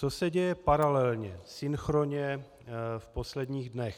Co se děje paralelně, synchronně v posledních dnech.